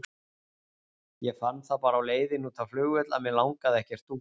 Ég fann það bara á leiðinni út á flugvöll að mig langaði ekkert út.